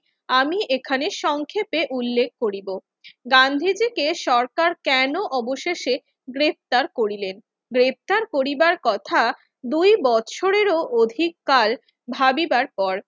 আমি এখানে সংক্ষেপে উল্লেখ করিব। গান্ধীজিকে সরকার কেন অবশেষে গ্রেফতার করিলেন? গ্রেফতার করিবার কথা দুই বছরেরও অধিককাল ভাবিবার পর।